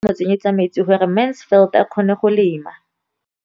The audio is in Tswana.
O ne gape a mo tsenyetsa metsi gore Mansfield a kgone go lema.